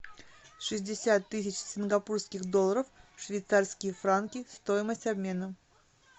шестьдесят тысяч сингапурских долларов в швейцарские франки стоимость обмена